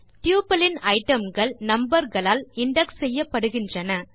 tuple இன் item கள் number களால் இண்டெக்ஸ் செய்யப்படுகின்றன